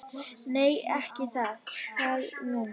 Nei, ekki er það nú.